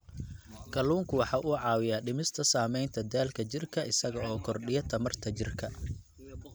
Kalluunku waxa uu caawiyaa dhimista saamaynta daalka jidhka isaga oo kordhiya tamarta jidhka.